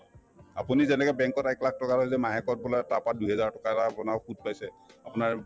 আপুনি যেনেকে bank ত এক লাখ টকা থলে যে মাহেকত বোলে তাৰপৰা দুইহেজাৰ টকা এটা আপোনাৰ সুত পাইছে আপোনাৰ